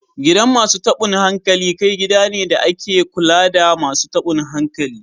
Gidan Masu tabun hankali kai gida ne da ake kula da Masu tabun hankali